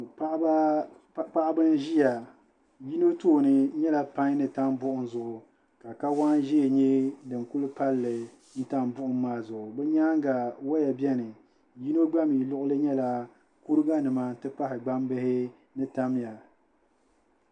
Paɣiba n-ʒiya yino tooni n nyɛla pain ni tam buɣum zuɣu ka kawaan'ʒee nyɛ din kuli palli tam buɣum maa zuɣu bɛ nyaaŋa waya beni yino gba mi luɣuli nyɛla kuriganima ni gbambihi ni tamya